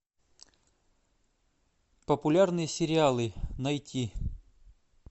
популярные сериалы найти